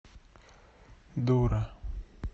дура